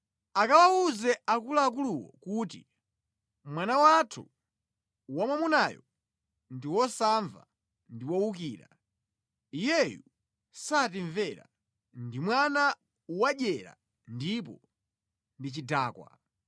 akawawuze akuluakuluwo kuti, “Mwana wathu wamwamunayu ndi wosamva ndi wowukira. Iyeyu satimvera. Ndi mwana wadyera komanso ndi chidakwa.”